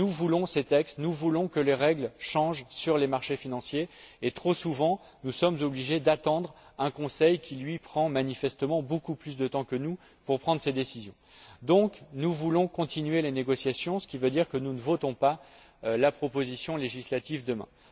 Nous voulons ces textes, nous voulons que les règles changent sur les marchés financiers et, trop souvent, nous sommes obligés d'attendre un Conseil qui, lui, prend manifestement beaucoup plus de temps que nous pour prendre ses décisions. Donc, nous voulons continuer les négociations, ce qui veut dire que nous ne voterons pas la proposition législative demain.